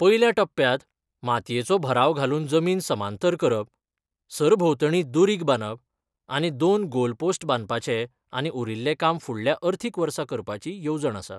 पयल्या टप्प्यात मातयेचो भराव घालून जमीन समांतर करप, सरभोवतणी दुरींग बांदप आनी दोन गोल पोस्ट बांदपाचे आनी उरिल्ले काम फुडल्या अर्थीक वर्सा करपाची येवजण आसा.